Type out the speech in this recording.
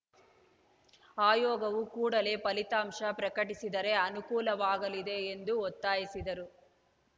ಆಯೋಗವು ಕೂಡಲೇ ಫಲಿತಾಂಶ ಪ್ರಕಟಿಸಿದರೆ ಅನುಕೂಲವಾಗಲಿದೆ ಎಂದು ಒತ್ತಾಯಿಸಿದರು